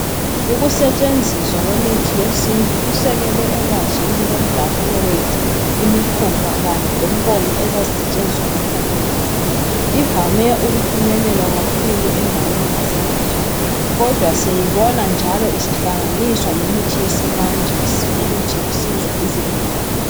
Ukusetshenziswa kwemithi yesintu kusekelwe elwazini lomdabuko wethu, imikhuba kanye lenkolo ezazisetshenziswa ngokhokho bethu. Ivame ukufinyelelwa kakhulu endaweni zasemakhaya kodwa siyayibona njalo isihlanganiswa lemithi yesimanje ukuthi kusizwe izigulane.